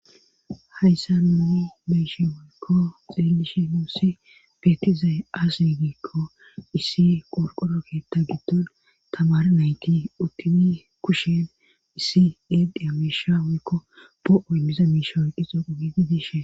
Hayssa no beyshi woykko xillishi nuussi beetizay as yigiikko issi qorqoro keetta giddon tamar nayti uttimi kushin issi edhi amiisha woykko bo'oy miza miishooy qixo qugi gidishe.